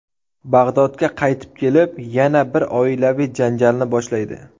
Bag‘dodga qaytib kelib, yana bir oilaviy janjalni boshlaydi.